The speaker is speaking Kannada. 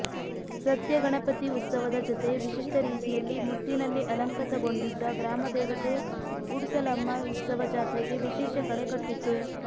ಸತ್ಯಗಣಪತಿ ಉತ್ಸವದ ಜತೆ ವಿಶಿಷ್ಟ ರೀತಿಯಲ್ಲಿ ಮುತ್ತಿನಲ್ಲಿ ಅಲಂಕೃತಗೊಂಡಿದ್ದ ಗ್ರಾಮದೇವತೆ ಉಡುಸಲಮ್ಮ ಉತ್ಸವ ಜಾತ್ರೆಗೆ ವಿಶೇಷ ಕಳೆ ಕಟ್ಟಿತ್ತು